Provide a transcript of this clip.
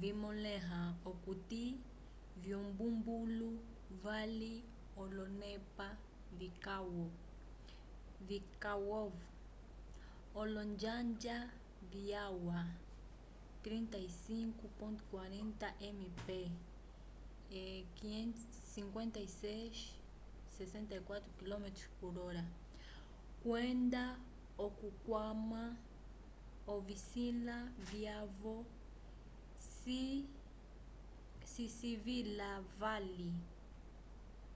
vimõleha okuti vyumbumbulu vali olonepa vikwavo - olonjanja vyalwa 35-40 mph 56-64km/h – kwenda okukwama ovisila vyavo cisilivila vali